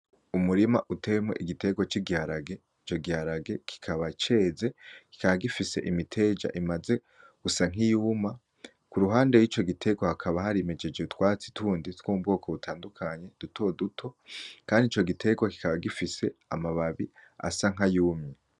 Umurima uteyemwo igiterwa c'igirage ico giharage kikaba ceze kikaba gifise imiteja imaze gusa nkiyuma k'uruhande ico giterwa hakaba hari mijeje utwatsi tundi two mu bwoko butandukanye, duto duto, kand'ico giterwa kikaba gifise amababi asa nk'ayumye.